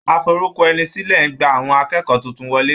Aforúkọẹnisílẹ̀ ń gba àwọn akẹ́kọ̀ọ́ tuntun wọlé.